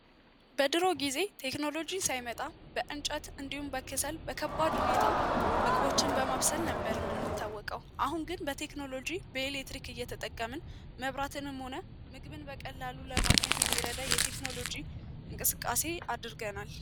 በድሩ ጊዜ ቴክኖሎጂ ሳይመጣ በከሠር ወይም በእንጨት ምግቦችን በማብሰል ነበር የምንታወቀው አሁን ግን በቴክኖሎጂ በኤሌክትሪክ እየተጠቀምን መብራት ሆነ ምግብ ለማግኘት የሚረዳ የቴክኖሎጂ እንቅስቃሴ አድርገናል።